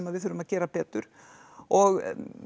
við þurfum að gera betur og